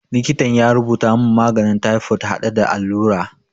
Likitan ya rubuta mun maganin taifod hade da allura